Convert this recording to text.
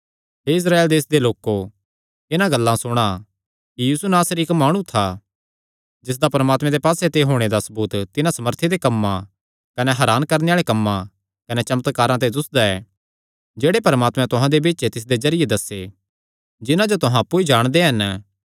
हे इस्राएल देसे दे लोको इन्हां गल्लां सुणा कि यीशु नासरी इक्क माणु था जिसदा परमात्मे दे पास्से ते होणे दा सबूत तिन्हां सामर्थी दे कम्मां कने हरान करणे आल़े कम्मां कने चमत्कारां ते दुस्सदा ऐ जेह्ड़े परमात्मैं तुहां दे बिच्च तिसदे जरिये दस्से जिन्हां जो तुहां अप्पु ई जाणदे हन